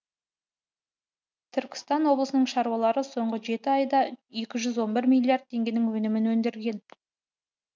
түркістан облысының шаруалары соңғы жеті айда екі жүз он бір миллиард теңгенің өнімін өндірген